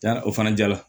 Ja o fana jara